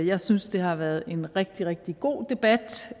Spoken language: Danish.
jeg synes at det har været en rigtig rigtig god debat